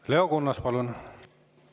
Leo Kunnas, palun!